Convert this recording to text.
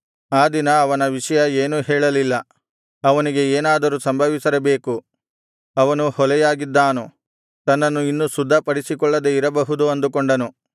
ಆ ದಿನ ಅವನ ವಿಷಯ ಏನೂ ಹೇಳಲಿಲ್ಲ ಅವನಿಗೆ ಏನಾದರೂ ಸಂಭವಿಸಿರಬೇಕು ಅವನು ಹೊಲೆಯಾಗಿದ್ದಾನು ತನ್ನನ್ನು ಇನ್ನು ಶುದ್ಧಪಡಿಸಿಕೊಳ್ಳದೆ ಇರಬಹುದು ಅಂದುಕೊಂಡನು